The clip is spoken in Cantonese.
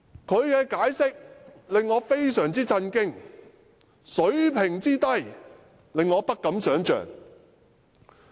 他的解釋令我非常震驚，這人水平之低，令我不敢想象。